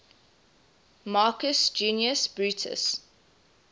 marcus junius brutus